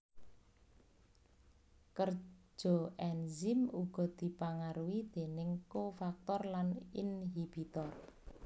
Kerja enzim uga dipangaruhi déning kofaktor lan inhibitor